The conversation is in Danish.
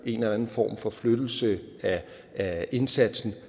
en eller anden form for forflyttelse af indsatsen